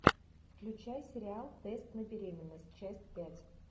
включай сериал тест на беременность часть пять